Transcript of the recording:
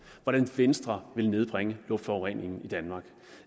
hvordan venstre vil nedbringe luftforureningen i danmark